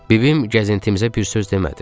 Bibim gəzintimizə bir söz demədi.